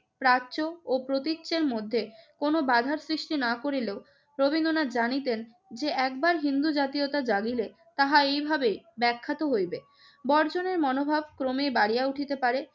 প্রাচ্য ও প্রতীচ্যের মধ্যে কোন বাধার সৃষ্টি না করিলেও রবীন্দ্রনাথ জানিতেন যে, একবার হিন্দু জাতীয়তা জাগিলে তাহা এভাবেই ব্যাখ্যাত হইবে। বর্জনের মনোভাব ক্রমেই বাড়িয়া উঠিতে পারে।